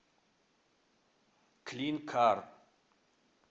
клинкар